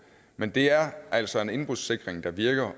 men det er altså en indbrudssikring der virker